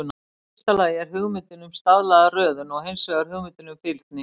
Í fyrsta lagi er hugmyndin um staðlaða röðun, og hins vegar hugmyndin um fylgni.